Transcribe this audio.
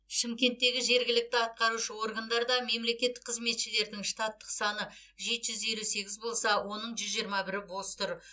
шымкенттегі жергілікті атқарушы органдарда мемлекеттік қызметшілердің штаттық саны жеті жүз елі сегіз болса оның жүз жиырма бірі бос тұр